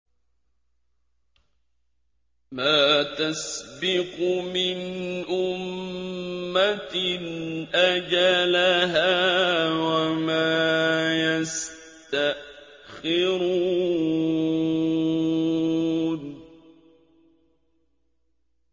مَّا تَسْبِقُ مِنْ أُمَّةٍ أَجَلَهَا وَمَا يَسْتَأْخِرُونَ